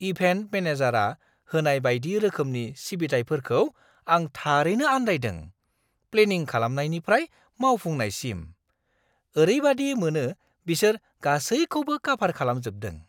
Event मेनेजारआ होनाय बायदि रोखोमनि सिबिथाइफोरखौ आं थारैनो आन्दायदों-प्लेनिं खालामनायनिफ्राय मावफुंनायसिम, ओरैबादि मोनो बिसोर गासैखौबो काभार खालामजोबदों!